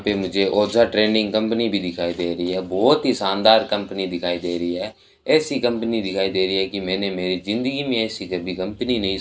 हां पे मुझे ओझा ट्रेनिंग कंपनी भी दिखाई दे रही है बहोत ही शानदार कंपनी दिखाई दे रही है ऐसी कंपनी दिखाई दे रही है कि मैने मेरी जिंदगी में ऐसी कभी कंपनी नहीं --